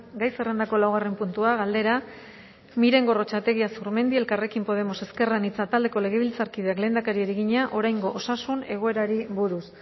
gai zerrendako laugarren puntua galdera miren gorrotxategi azurmendi elkarrekin podemos ezker anitza taldeko legebiltzarkideak lehendakariari egina oraingo osasun egoerari buruz